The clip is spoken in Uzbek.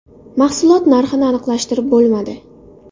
Mahsulot narxini aniqlashtirib bo‘lmadi.